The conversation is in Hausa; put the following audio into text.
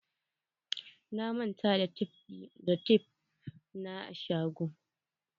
Na manta da tef na a shago.